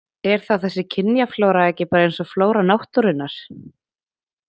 Er þá þessi kynjaflóra ekki bara eins og flóra náttúrunnar?